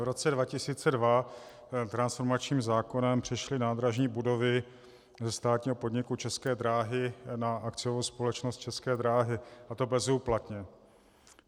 V roce 2002 transformačním zákonem přešly nádražní budovy ze státního podniku České dráhy na akciovou společnost České dráhy, a to bezúplatně.